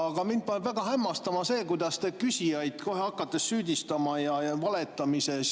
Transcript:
Aga mind paneb väga hämmastuma see, kuidas te küsijaid kohe hakkate valetamises süüdistama.